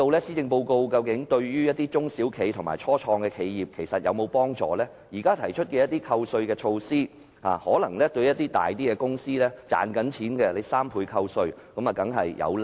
施政報告對中小企及初創企業有否幫助﹖現時提出的3倍扣稅措施，對一些較大型並有盈利的公司當然有利。